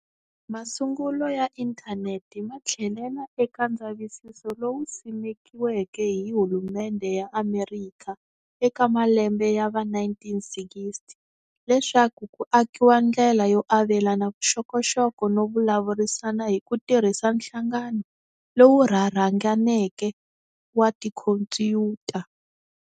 Masungulo ya inthaneti mathlelela eka ndzavisiso lowu simekiweke hi hulumendhe ya Amerikha eka malembe ya va 1960, leswaku ku akiwa ndlela yo avelana vuxokoxoko no vulavurisana hikutirhisa nhlangano lowu rharhanganeke wa tikhompuyuta.